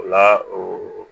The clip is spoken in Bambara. O la o